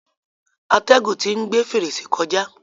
Atẹ́gùn tí ń gbe fèrèsé kọjá.